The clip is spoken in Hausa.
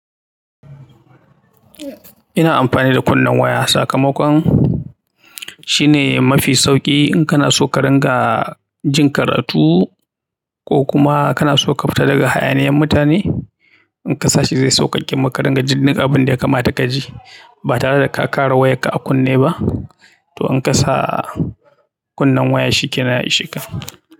Ina amfani da kunnen waya sakamakon shine mafi sauƙi in kana so ka ringa jin karatu ko kuma kana so ka fita daga hayaniyan mutane. In ka sa shi zai sauƙaƙe maka rangajin abin da ya kamata ka ji ba tare da ka ƙara wayarka a kunne ba. To in ka sa kunnen waya shi ke nan ya i sheka.